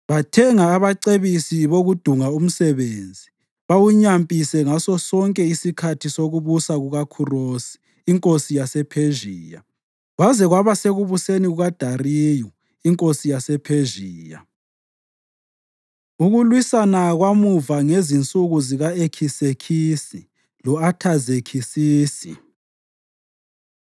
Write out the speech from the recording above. Bathenga abacebisi bokudunga umsebenzi bawunyampise ngasosonke isikhathi sokubusa kukaKhurosi inkosi yasePhezhiya kwaze kwaba sekubuseni kukaDariyu inkosi yasePhezhiya. Ukulwisana Kwamuva Ngezinsuku Zika-Ekisekisi Lo-Athazekisisi